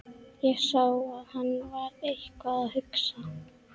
Ég sá að hann var eitthvað að hugsa.